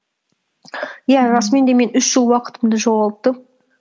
иә расымен де мен үш жыл уақытымды жоғалттым